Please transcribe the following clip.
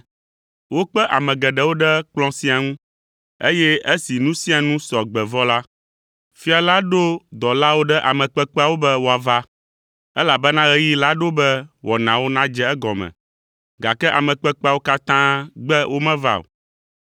Wokpe ame geɖewo ɖe kplɔ̃ sia ŋu, eye esi nu sia nu sɔ gbe vɔ la, fia la ɖo dɔlawo ɖe ame kpekpeawo be woava, elabena ɣeyiɣi la ɖo be wɔnawo nadze egɔme, gake ame kpekpeawo katã gbe womeva o.